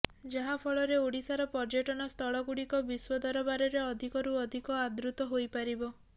ଯାହାଫଳରେ ଓଡିଶାର ପର୍ଯ୍ୟଟନ ସ୍ଥଳଗୁଡିକ ବିଶ୍ୱ ଦରବାରରେ ଅଧିକରୁ ଅଧିକ ଆଦୃତ ହୋଇପାରିବ